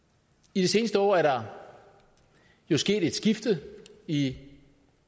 i det seneste år er der jo sket et skifte i